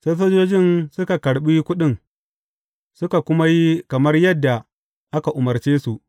Sai sojojin suka karɓi kuɗin, suka kuma yi kamar yadda aka umarce su.